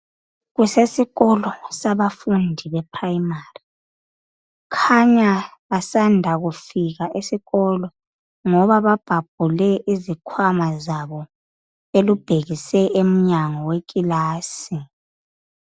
Kusesikolo sabafundi be primary kukhanya basanda kufika esikolo ngoba babhabhule izikwama zabo belubhekise enyango wekilasi